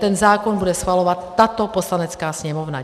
Ten zákon bude schvalovat tato Poslanecká sněmovna.